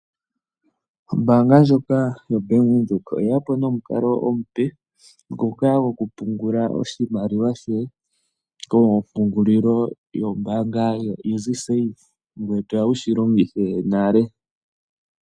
Ombaanga ndjoka yoBank Windhoek oye ya po nomukalo omupe ngoka gokupungula oshimaliwa shoye kompungulilo yOmbaanga yoEasySave ngoye to ya wu shi longithe nale.